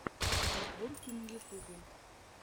подборки на ютубе